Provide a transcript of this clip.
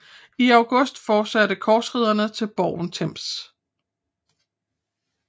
I august fortsatte korsridderne til borgen Termes